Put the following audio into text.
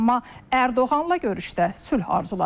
amma Ərdoğanla görüşdə sülh arzuladı.